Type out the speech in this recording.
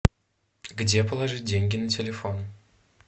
где положить деньги на телефон